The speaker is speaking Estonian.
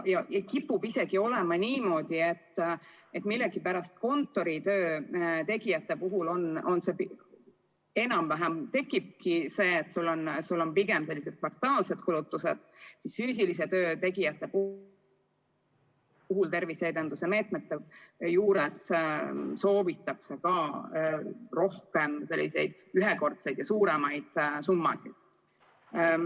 Kipub olema niimoodi, et millegipärast kontoritöö tegijate puhul sul on pigem enam-vähem sellised kvartaalsed kulutused, aga füüsilise töö tegijate puhul soovitakse terviseedenduse meetmete rakendamiseks rohkem selliseid ühekordseid suuremaid summasid.